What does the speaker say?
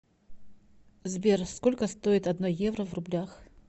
сбер сколько стоит одно евро в рублях